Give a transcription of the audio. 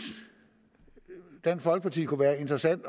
dansk folkeparti kunne være interessant